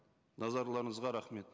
назарларыңызға рахмет